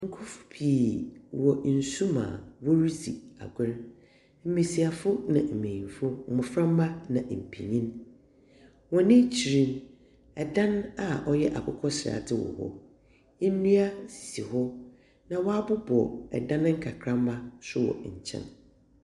Nkorɔfo pii wɔ nsu mu a woridzi agor mbesiafo na mbenyinfo, Mboframba na mpenyin. Hɔn ekyir no, ɛdan a ɔyɛ akokɔsradze wɔ hɔ. Nnua sisi hɔ, na wɔabobɔ dan nkakramba nso wɔ nkyɛn.